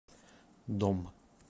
дом